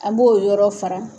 A b'o yɔrɔ fara.